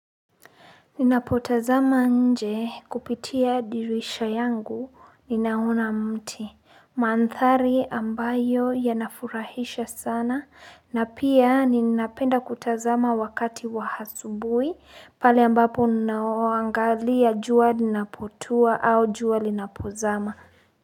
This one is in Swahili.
Ninapotazama nje kupitia dirisha yangu ninaona mti, mandhari ambayo yanafurahisha sana na pia ninapenda kutazama wakati wahasubui pale ambapo ninaoangalia jua ninapotua au jua linapozama.